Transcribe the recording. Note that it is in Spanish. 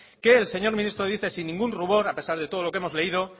que el señor ministro dice sin ningún rubor a pesar de todo lo que hemos leído